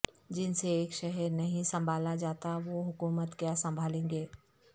جن سے ایک شہر نہیں سنبھالاجاتا وہ حکومت کیا سنبھالیں گے